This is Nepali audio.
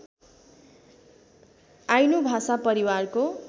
आइनू भाषा परिवारको